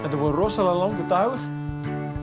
að vera rosalega langur dagur